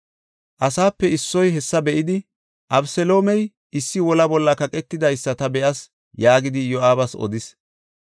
Asaape issoy hessa be7idi, “Abeseloomey issi wola bolla kaqetidaysa ta be7as” yaagidi Iyo7aabas odis.